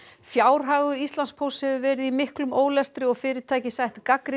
fjárhagur Íslandspósts hefur verið í miklum ólestri og fyrirtækið sætt gagnrýni